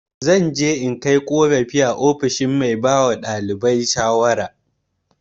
Zan je in yi korafi a ofishin mai ba ɗalibai shawara.